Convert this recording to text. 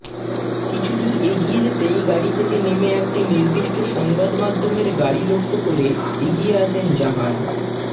কিছুদূর এগিয়ে যেতেই গাড়ি থেকে নেমে একটি নির্দিষ্ট সাংবাদমাধ্যমের গাড়ি লক্ষ্য করে এগিয়ে আসেন জাহান